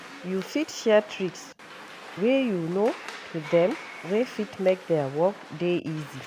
You fit share tricks wey you know to them wey fit make their work dey easy